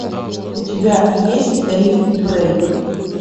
у тебя есть риф брейк